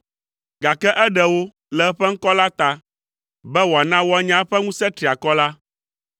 gake eɖe wo le eƒe ŋkɔ la ta, be wòana woanya eƒe ŋusẽ triakɔ la.